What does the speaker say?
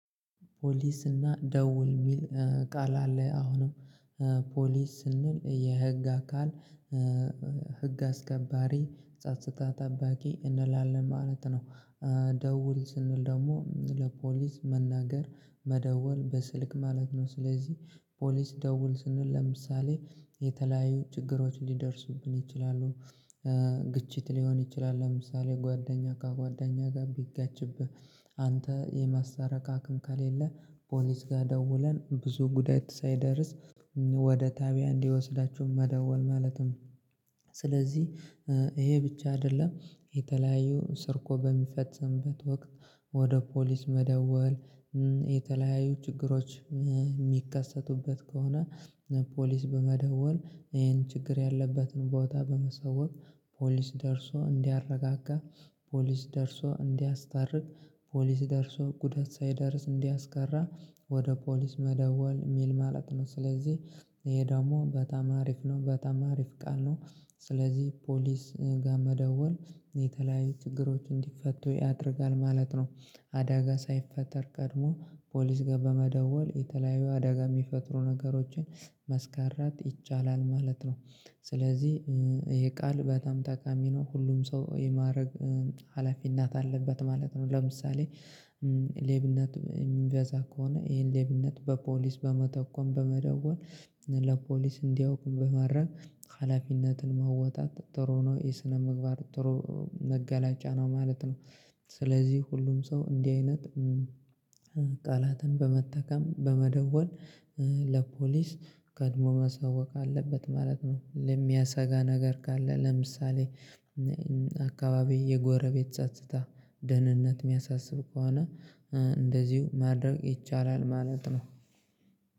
ፖሊስ እና ደውል የሚል ቃል አለ አሁንም ፖሊስ ስንል የህግ አካል ህግ አስከባሪ ጸጥታ ጠባቂ እንላለን ማለት ነው። ደውል ስንል ደግሞ ለፖሊስ መናገር መደወል በስልክ ማለት ነው። ስለዚህ ፖሊስ ደውል ስንል ለምሳሌ የተለያዩ ችግሮች ሊደርሱብን ይችላሉ። ግችት ሊሆን ይችላል ለምሳሌ ጓደኛ ጋር ጓደኛ ጋር ቢጋጭብህ አንተ የማስታረቅ አክም ከሌለ ፖሊስ ጋር ደውለን ብዙ ጉዳይ ሳይደርስ ወደ ታቢያ እንዲወስዳችሁ መደወል ማለት ነው። ስለዚህ ይሄ ብቻ አይደለም የተለያዩ ስርኮ በሚፈጽምበት ወቅት ወደ ፖሊስ መደወል የተለያዩ ችግሮች የሚከሰቱበት ከሆነ ፖሊስ በመደወል ይሄን ችግር ያለበትን ቦታ በማሳወቅ ፖሊስ ደርሶ እንዲያረጋጋ ፖሊስ ደርሶ እንዲያስታርቅ ፖሊስ ደርሶ ጉዳት ሳይደርስ እንዲያስጋራ ወደ ፖሊስ መደወል የሚል ማለት ነው። ስለዚህ ይሄ ደግሞ በጣም አሪፍ ነው በጣም አሪፍ ቃል ነው። ስለዚህ ፖሊስ ጋር መደወል የተለያዩ ችግሮች እንዲፈቱ ያደርጋል ማለት ነው። አዳጋ ሳይፈጠር ቀድሞ ፖሊስ ጋር በመደወል የተለያዩ አዳጋ የሚፈጥሩ ነገሮችን ማስቀረት ይቻላል ማለት ነው። ስለዚህ ይሄ ቃል በጣም ተቃሚ ነው ሁሉም ሰው የማድረግ ሀላፊነት አለበት ማለት ነው። ለምሳሌ ሌብነት የሚበዛ ከሆነ ይሄን ሌብነት በፖሊስ በመጠቆም በመደወል ለፖሊስ እንዲያውቅም በማድረግ ሀላፊነትን መወጣት ጥሩ ነው የስነምግባር ጥሩ መገላጫ ነው ማለት ነው። ስለዚህ ሁሉም ሰው እንዲህ አይነት ቃላትን በመጠቀም በመደወል ለፖሊስ ቀድሞ ማሳወቅ አለበት ማለት ነው። ለሚያሳጋ ነገር ካለ ለምሳሌ አካባቢ የጎረቤት ጸጥታ ደህንነት የሚያሳስብ ከሆነ እንደዚሁ ማድረግ ይቻላል ማለት ነው።